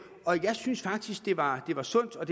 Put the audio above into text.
og jeg synes faktisk det var var sundt og